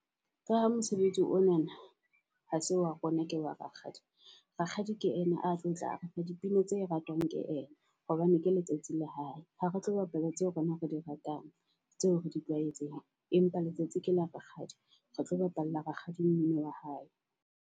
Ka ha mosebetsi ona na ha se wa rona ke wa Rakgadi. Rakgadi ke ena a tlotla letsa dipina tse ratwang ke ena, hobane ke letsatsi la hae. Ha re tlo bapala tseo rona re di ratang, tseo re di tlwaetseng. Empa letsatsi ke la Rakgadi, re tlo bapalla Rakgadi mmino wa hae.